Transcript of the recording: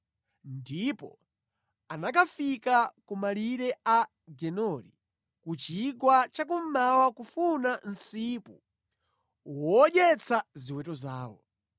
ndipo anakafika ku malire a Gedori ku chigwa cha kummawa kufuna msipu wodyetsa ziweto zawo.